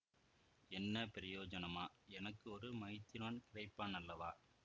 என்ன பிரயோஜனமா எனக்கு ஒரு மைத்துனன் கிடைப்பானல்லவா